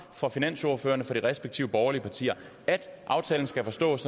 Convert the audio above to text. fra finansordførerne for de respektive borgerlige partier at aftalen skal forstås